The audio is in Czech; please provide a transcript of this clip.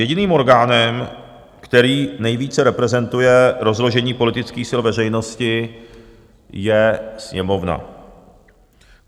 Jediným orgánem, který nejvíce reprezentuje rozložení politických sil veřejnosti, je Sněmovna.